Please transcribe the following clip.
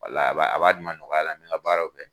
Wala a b'a a b'a di n ma ɲɔgɔnya la mɛ n ka baaraw kɛ.